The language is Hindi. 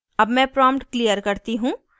अब मैं prompt clear करती हूँ